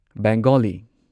Bengali